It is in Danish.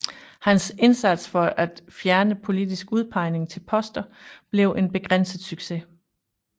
Hans indsats for at fjerne politisk udpegning til poster blev en begrænset succes